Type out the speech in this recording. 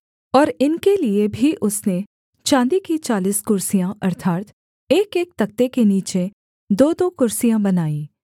और इनके लिये भी उसने चाँदी की चालीस कुर्सियाँ अर्थात् एकएक तख्ते के नीचे दोदो कुर्सियाँ बनाईं